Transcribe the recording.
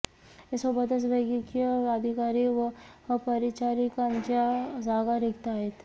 यासोबतच वैद्यकीय अधिकारी व परिचारिकांच्या जागा रिक्त आहेत